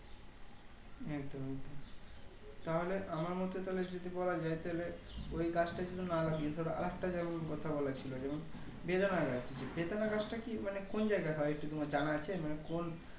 একদম একদম তাহলে আমার মতে তাহলে যদি বলা যাই তাইলে ওই গাছটা যদি না লাগিয়ে ধরো আরেকটা যেমন কথা বলেছিল বেদানা গাছ বেদানা গাছটা কি মানে কোন জায়গায় হয় একটু তোমার জানা আছে মানে কোন